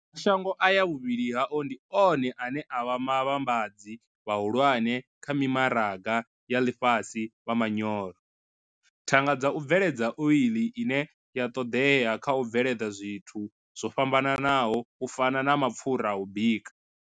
Mashango aya vhuvhili hao ndi one ane a vha vhavhambadzi vhahulwane kha mimaraga ya ḽifhasi vha manyoro, thanga dza u bveledza oḽi ine ya ṱoḓea kha u bveledza zwithu zwo fhambanaho u fana na mapfura a u bika.